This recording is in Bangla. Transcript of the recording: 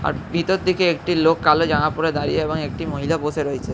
আর ভিতর দিকে একটি লোক কালো জামা পরে দাঁড়িয়ে এবং একটি মহিলা বসে রয়েছে ।